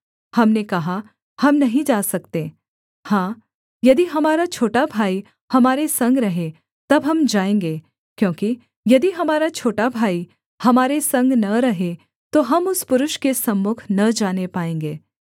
हमने कहा हम नहीं जा सकते हाँ यदि हमारा छोटा भाई हमारे संग रहे तब हम जाएँगे क्योंकि यदि हमारा छोटा भाई हमारे संग न रहे तो हम उस पुरुष के सम्मुख न जाने पाएँगे